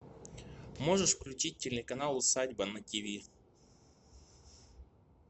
можешь включить телеканал усадьба на тиви